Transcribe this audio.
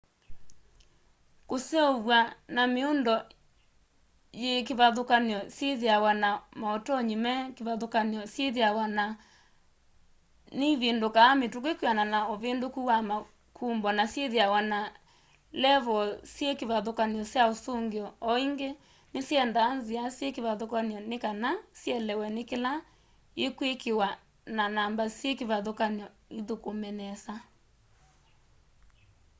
kuseuvw'a na miundo yi kivathukanio syithiawa na mautonyi me kivathukany'o syithiawa na nivindukaa mituki kwianana na uvinduku wa makumbo na syithiawa na levoo syi kivathukany'o sya usungio o ingi nisyendaa nzia syi kivathukany'o ni kana sielewe ni kila i kwikiwa na namba syi kivathukany'o ithukume nesa